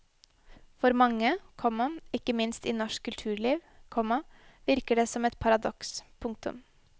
For mange, komma ikke minst i norsk kulturliv, komma virker det som et paradoks. punktum